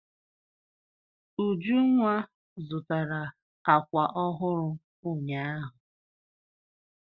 Ujunwa zụtara àkwà ọhụrụ ụnyaahụ.